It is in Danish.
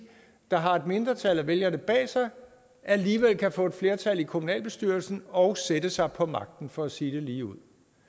der har et mindretal af vælgerne bag sig alligevel kan få et flertal i kommunalbestyrelsen og sætte sig på magten for at sige det ligeud